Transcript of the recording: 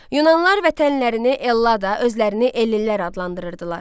Yunanlar vətənlərini Ellada, özlərini Ellinlər adlandırırdılar.